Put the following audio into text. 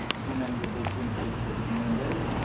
шын мәнінде бұл кемшілікті біз мойындаймыз